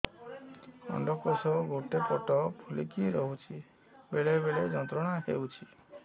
ଅଣ୍ଡକୋଷ ଗୋଟେ ପଟ ଫୁଲିକି ରହଛି ବେଳେ ବେଳେ ଯନ୍ତ୍ରଣା ହେଉଛି